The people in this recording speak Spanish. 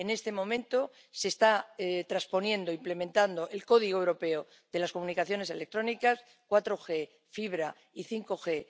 En estos momentos se está transponiendo e implementando el Código Europeo de las Comunicaciones Electrónicas 4G, fibra y 5 G.